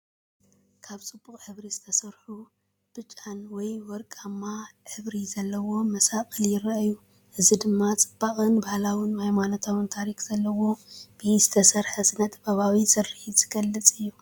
ካብ ድሙቕ ሕብሪ ዝተሰርሑ ቀይሕ ወይ ወርቃዊ ሕብሪ ዘለዎም መሳቕል ይራኣዩ። እዚ ድማ ጽባቐ ባህላውን ሃይማኖታውን ታሪክ ዘለዎ ብኢድ ዝተሰርሐን ስነ-ጥበባዊ ስርሓት ዝገልጽ እዩ።